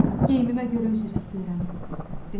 Geyimimə görə üzr istəyirəm.